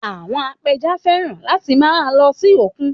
Àwọn apẹja fẹ́ràn láti máa lọ sí òkun